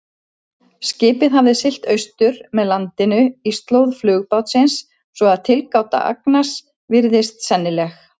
Skipið hafði siglt austur með landinu í slóð flugbátsins, svo að tilgáta Agnars virðist sennileg.